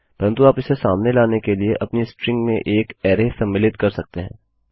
परन्तु आप इसे सामने लाने के लिए अपनी स्ट्रिंग में एक अरै सम्मिलित कर सकते हैं